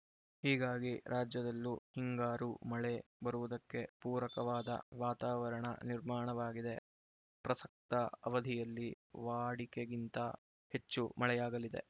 ಹೀಗಾಗಿ ರಾಜ್ಯದಲ್ಲೂ ಹಿಂಗಾರು ಮಳೆ ಬರುವುದಕ್ಕೆ ಪೂರಕವಾದ ವಾತಾವರಣ ನಿರ್ಮಾಣವಾಗಿದೆ ಪ್ರಸಕ್ತ ಅವಧಿಯಲ್ಲಿ ವಾಡಿಕೆಗಿಂತ ಹೆಚ್ಚು ಮಳೆಯಾಗಲಿದೆ